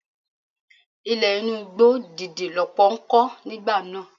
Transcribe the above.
Ilé inú igbó dídí lọ́pọ̀ ń kọ́ nígbà náà.